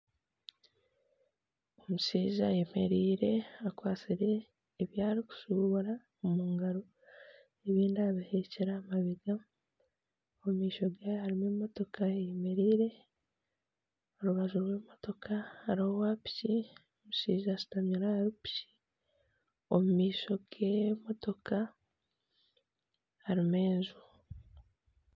Omushaija ayemereire akwatsire ebi arikushubura omu ngaro ebindi abiheekire aha mabega omu maisho gye harimu emotoka eyemereire omu rubaju rw'emitoka hariho owapiki omushaija ashutamire ahari piki omu maisho g'emotoka aharimu enju